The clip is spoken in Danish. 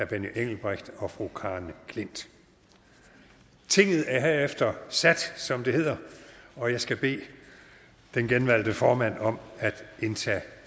benny engelbrecht og fru karen j klint tinget er herefter sat som det hedder og jeg skal bede den genvalgte formand om at indtage